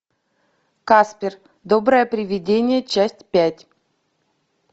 каспер доброе привидение часть пять